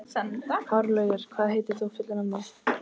Hárlaugur, hvað heitir þú fullu nafni?